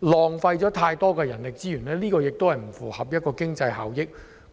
浪費太多人力資源，並不符合經濟效益。